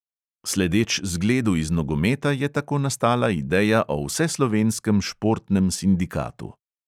Sledeč zgledu iz nogometa je tako nastala ideja o vseslovenskem športnem sindikatu.